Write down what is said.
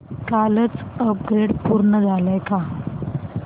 कालचं अपग्रेड पूर्ण झालंय का